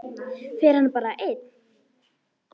Fer hann bara einn?